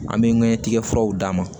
An bɛ ɲɛtigɛ furaw d'a ma